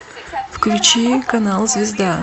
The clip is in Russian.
включи канал звезда